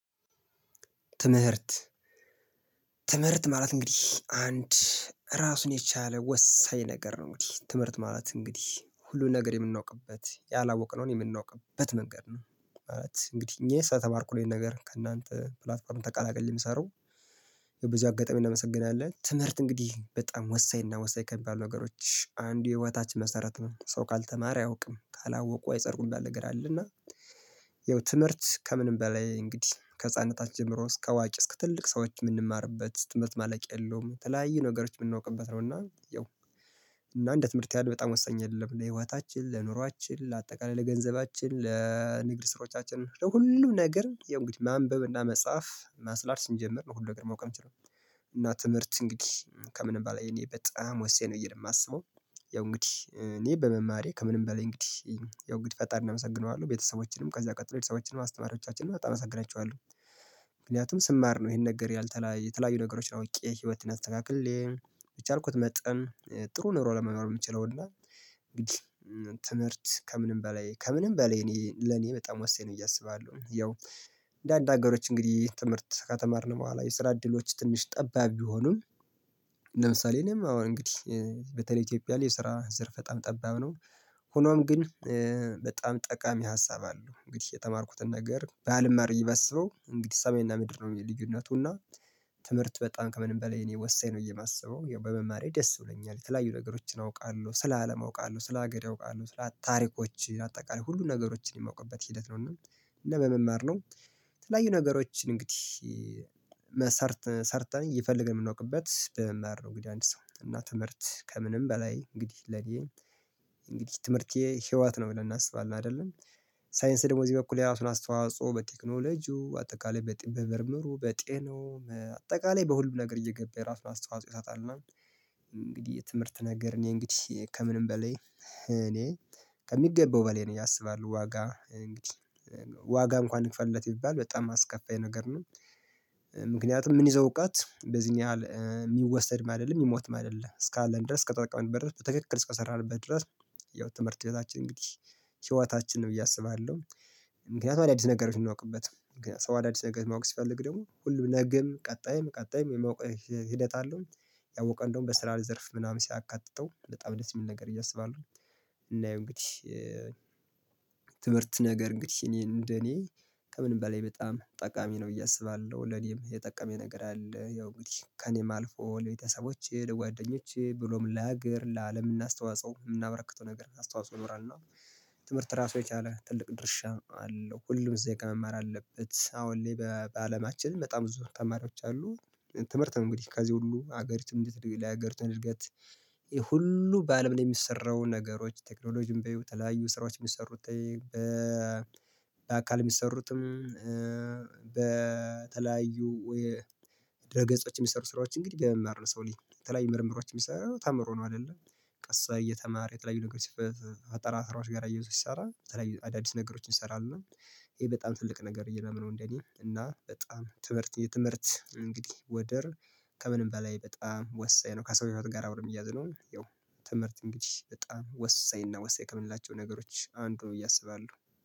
ትምህርት ትምህርት ማለት እንግዲህ አንድ ራሱን የቻለ ወሳኝ ነገር ነው። እንግዲህ ትምህርት ማለት እንግዲህ ሁሉን ነገር የምናውቅበት ያላወቅነውን የምናውቅበት መንገድ ነው። እንግዲህ እኔ ስለተማርኩ ይሄን ነገር ከእናንተ ፕላትፎርም ተቀላቀዬ የምሰራው። በዚሁ አጋጣሚ እናመሰግናለን። ትምህርት እንግዲህ በጣም ወሳኝ እና ወሳኝ ከሚባሉ ነገሮች አንዱ የህይወታችን መሰረት ነው። ሰው ካልተማረ አያውቅም ካላወቁ አይፀድቁ ሚባል ነገር አለ። እና ይኸው ትምህርት ከምንም በላይ እንግዲህ ከህፃንነታችን ጀምሮ እስከ አዋቂ እስከ ትልቅ ሰዎች የምንማርበት ትምህርት ማለቂያ የለውም። የተለያዩ ነገሮች የምናውቅበት ነው። እና ያው እና እንደ ትምህርት ያህል በጣም ወሳኝ የለም። ለህይወታችን ለኑሮአችን ለአጠቃላይ ለገንዘባችን ለንግድ ስራዎቻችን ለሁሉም ነገር ያው እንግዲህ ማንበብ መጻፍ ማስላት ስንጀምር ነው ሁሉ ነገር ማወቅ የምንችለው። እና ትምህርት እንግዲህ ከምንም በኋላ የኔ በጣም ወሳኝ ነው ብየ ነው የማስበው። ያው እንግዲህ እኔ በመማሬ ከምንም በላይ እንግዲህ ያው እንግዲህ ፈጣሪ እናመሰግነዋለን ቤተሰቦችንም ከዚያ ቀጥሎ ሌላ ቤተሰቦቼንም አስተማሪዎቻችንም በጣም አመሰግናቸዋለሁ። ምክንያቱም ስማር ነው ይሄን ነገር ያልተለያ የተለያዩ ነገሮች አውቄ ህይወትን አስተካክሌ በቻልኩት መጠን ጥሩ ኑሮ ለመኖር የምችለው። እና እንግዲህ ትምህርት ከምንም በላይ ከምንም በላይ እኔ ለኔ በጣም ወሳኝ ነው። እያሰባለሁ ያው እንደ አንደ አገሮች እንግዲህ ትምህርት ከተማርን በኋላ የስራ እድሎች ትንሽ ጠባብ ቢሆኑም። ለምሳሌ እኔም አሁን እንግዲህ በተለይ ኢትዮጵያ ላይ የስራ ዘርፍ በጣም ጠባብ ነው። ሆኖም ግን በጣም ጠቃሚ ሀሳብ አለው። እንግዲህ የተማርኩትን ነገር ባልማር ብየ ባስበው እንግዲህ ሰሜና ምድር ነው ልዩነቱና። ትምህርት በጣም ከምንም በላይ እኔ ወሳኝ ነው እየማስበው በመማሬ ደስ ብሎኛል። የተለያዩ ነገሮችን አውቃለሁ ስለ አለም አውቃለሁ ስለ ሀገር አውቃለሁ ስለ ታሪኮች አጠቃላይ ሁሉን ነገሮችን የማውቅበት ሂደት ነው። እና ለመማር ነው። የተለያዩ ነገሮችን እንግዲህ መሰርተ ሰርተን ይፈልገን የምንወቅበት በመማር ነው። እንግዲህ አንድ ሰው እና ትምህርት ከምንም በላይ እንግዲህ ለኔ እንግዲህ ትምህርቴ ህይወት ነው ብለን እናስባለን አይደለም። ሳይንስ ደግሞ እዚህ በኩል የራሱን አስተዋጽኦ በቴክኖሎጂው አጠቃላይ በምርምሩ በጤናው አጠቃላይ በሁልም ነገር እየገባ የራሱን አስተዋጽኦ ይሰጣል። እና እንግዲህ የትምህርት ነገር እኔ እንግዲህ ከምንም በሌ እኔ ከሚገኘው በላይ ነው ብየ አስባለሁ። ዋጋ ዋጋ እንኳን ይክፈልለት ቢባል በጣም አስከፋይ ነገር ነው። ምክንያቱም ምንይዘው እውቀት በዚህን ያህል የሚወሰድም አይደለም የሚሞትም አይደለም እስከ አለን ድረስ ከተጠቀመን በድረስ በትክክል እስከሰራንበት ድረስ። ያው ትምህርት ቤታችን እንግዲህ ሂይወታችን ነው ብዬ አስባለሁ። ምክንያቱም አዳዲስ ነገሮች እናውቅበት ሰው አዳዲስ ነገር ማወቅ ሲፈልግ ደግሞ ሁሉም ነግም ቀጣይም ቀጣይም የማወቅ ሂደት አለው። ያወቀው እንደውም በስራ ዘርፍ ምናምን ሲያካትተው በጣም ደስ የሚል ነገር ብየ አስባለሁ። እና ይሄው እንግዲህ ትምህርት ነገር እንግዲህ እኔ እንደ እኔ ከምንም በላይ በጣም ጠቃሚ ነው ብየ አስባለሁ። ለኔም የጠቀመኝ ነገር አለ ያው እንግዲህ ከእኔም አልፎ ለቤተሰቦቼ ለጓደኞቼ ብሎም ለሀገር ለአለም እናስተዋጽኦ የምናበረክተው ነገር አስተዋጽኦ ይኖራል። እና ትምህርት ራሱ የቻለ ትልቅ ድርሻ አለው። ሁሉም ዜጋ መማር አለበት አሁን ላይ በአለማችን በጣም ብዙ ተማሪዎች አሉ። ትምህርት ነው እንግዲህ ከዚህ ሁሉ ሀገሪቱን እንድትል ላይ ሀገሪቱን እድገት። ይሄ ሁሉ በአለም ላይ የሚሰራው ነገሮች ቴክኖሎጂም በይው የተለያዩ ስራዎች የሚሰሩት። በአካል የሚሰሩትም በተለያዩ የድረ ገጾች የሚሰሩ ስራዎች እንግዲህ በመማር ነው። የሰው ልጅ የተለያዩ ምርምሮች የሚሰራው ተምሮ ነው። አይደለ ቀሳ እየተማረ የተለያዩ ነገሮች ፈጣራ ስራዎች ጋር አያይዞ ሲሰራ። አዳዲስ ነገሮችን እንሰራለን። ይሄ በጣም ትልቅ ነገር ብየ ማምነው እንዴ እኔ እና በጣም ትምህርት የትምህርት እንግዲህ ወደር ከምንም በላይ በጣም ወሳኝ ነው ከሰው ሂወት ጋር አብሮ ሚያያዝ ነው። ያው ትምህርት እንግዲህ በጣም ወሳኝ እና ወሳኝ ከምንላቸው ነገሮች አንዱ ነው ብየ አስባለሁ